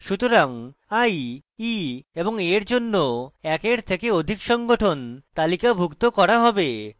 সুতরাং i e এবং a এর জন্য একের থেকে অধিক সংঘটন তালিকাভুক্ত করা হবে